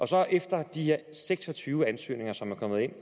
så efter de her seks og tyve ansøgninger som er kommet ind